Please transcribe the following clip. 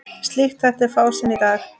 Slíkt þætti fásinna í dag.